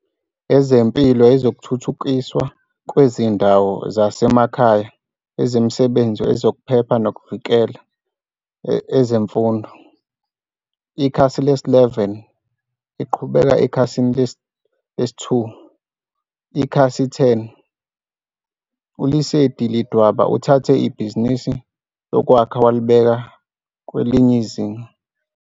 Ezempilo Ezokuthuthukiswa Kwezindawo Zasemakhaya Ezemisebenzi Ezokuphepha Nokuvikeleka EzemfundoIkhasi lesi-11, Iqhubeka ekhasini lesi-2. Ikhasi lesi-10, ULesedi Ledwaba uthathe ibhizinisi lokwakha walibeka kwelinye izinga.